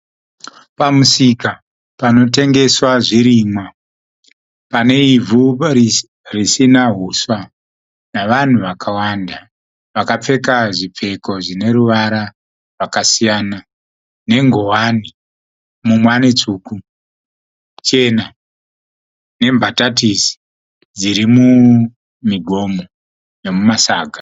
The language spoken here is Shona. Pamusika panotengeswa zvirimwa. Pane ivhu risina uswa navanhu vakawanda vakapfeka zvipfeko zvine ruvara rwakasiyana nengowani mumwe ane tsvuku, chena nembatatisi dziri mumigomo nemumasaga.